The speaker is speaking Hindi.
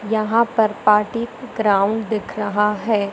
यहां पर पार्टी ग्राउंड दिख रहा है।